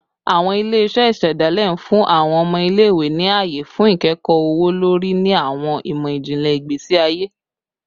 Awọn ile-iṣẹ isedale n fun awọn ọmọ ile-iwe ni aye fun ikẹkọ ọwọ-lori ni awọn imọ-jinlẹ igbesi aye